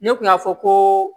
Ne kun y'a fɔ ko